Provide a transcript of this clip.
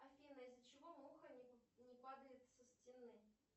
афина из за чего муха не падает со стены